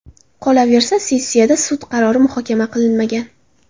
Qolaversa, sessiyada sud qarori muhokama qilinmagan.